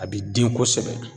A bi den kosɛbɛ